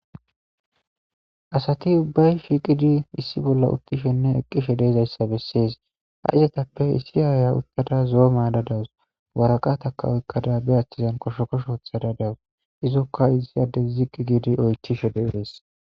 Asati ubbayi shiiqidi issi bolla utishenne eqishe dizaysa besesi. Izetappe issi Aya utada zo'o mayada dawusi , waraqata oykada be achani koshukosho wothada dawusi, izika issi adesi ziqid giidi oykishe desi.